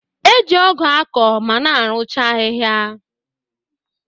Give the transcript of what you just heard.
E ji ọgụ akọ ma na-eruche ahịhịa